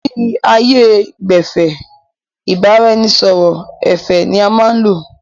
Ni ààyè gbẹ́fẹ̀, ìbáraẹnisọọ̀rọ̀ ẹ̀fẹ̀ ni a máa n lò